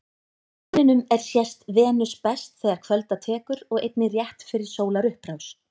Á himninum er sést Venus best þegar kvölda tekur og einnig rétt fyrir sólarupprás.